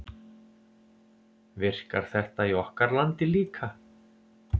Virkar þetta í okkar landi líka?